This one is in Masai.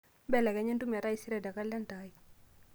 belekenya entumo etaisere tee kalenda ai